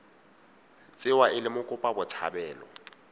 tsewa e le mokopa botshabelo